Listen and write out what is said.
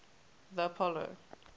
the apollo